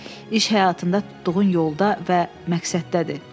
İş həyatında tutduğun yolda və məqsəddədir.